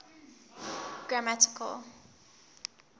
grammatical